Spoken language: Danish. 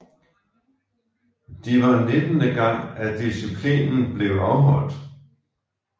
De var nittende gang at disciplinen blev afholdt